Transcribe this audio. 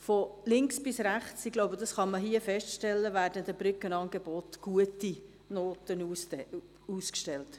Von links bis rechts – ich glaube, das hier feststellen zu können – werden den Brückenangeboten gute Noten ausgestellt.